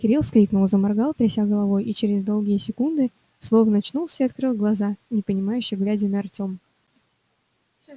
кирилл вскрикнул заморгал тряся головой и через доли секунды словно очнулся и открыл глаза непонимающе глядя на артема